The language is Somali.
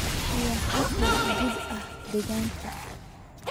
iyo xitaa guud ahaan deegaanka.